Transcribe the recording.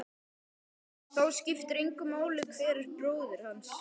Það skiptir engu máli hver er bróðir hvers.